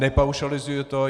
Nepaušalizuji to.